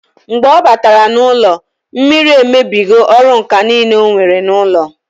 Mgbe ọ batara n'ụlọ, mmiri emebigo ọrụ ǹkà niile onwere n'ụlọ